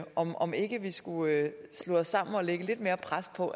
om om ikke vi skulle slå os sammen og lægge lidt mere pres på